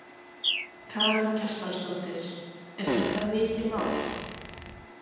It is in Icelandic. Karen Kjartansdóttir: Er þetta mikið mál?